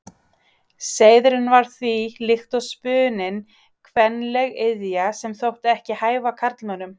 Seiðurinn var því, líkt og spuninn, kvenleg iðja, sem þótti ekki hæfa karlmönnum.